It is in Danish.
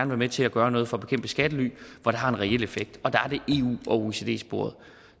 være med til at gøre noget for at bekæmpe skattely hvor der har en reel effekt og